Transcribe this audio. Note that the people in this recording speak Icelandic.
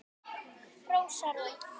Rósa Rún